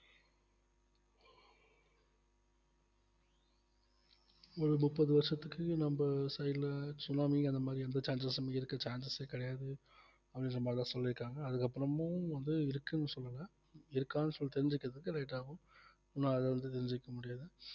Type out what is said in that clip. ஒரு முப்பது வருஷத்துக்கு நம்ம side ல சுனாமி அந்த மாதிரி எந்த chances உம் இருக்க chances ஏ கிடையாது சொல்லிருக்காங்க அதுக்கப்புறமும் வந்து இருக்குன்னு சொல்லல இருக்கான்னு சொல்லி தெரிஞ்சுக்கறதுக்கு late ஆகும் இன்னு அது வந்து தெரிஞ்சுக்க முடியாது